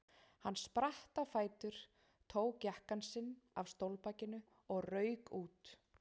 Hann spratt á fætur, tók jakkann sinn af stólbakinu og rauk út.